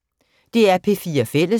DR P4 Fælles